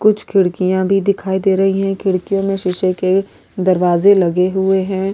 कुछ खिड़कियां भी दिखाई दे रही हैं खिड़कियों में शीशे के दरवाजे लगे हुए हैं।